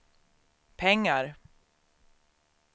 pengar